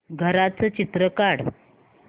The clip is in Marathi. घराचं चित्र काढ